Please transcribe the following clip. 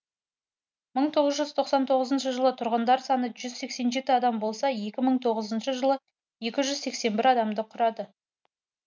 мың тоғыз жүз тоқсан тоғызыншы жылы тұрғындар саны жүз сексен жеті адам болса екі мың тоғызыншы жылы екі жүз сексен бір адамды құрады